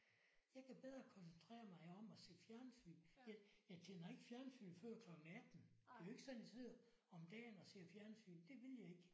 Jeg kan bedre koncentrere mig om at se fjernsyn. Jeg jeg tænder ikke fjernsyn før kl 18. Det er jo ikke sådan jeg sidder om dagen og ser fjernsyn det vil jeg ikke